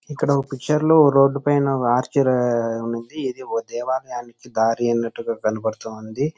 ఇక్కడ ఒక పిక్చర్ లోన రోడ్డుపైన ఆర్చెరీ అనేది ఉన్నది ఇది ఒక దేవాలయానికి దారి అన్నట్టుగా కనపడుతూ ఉంది.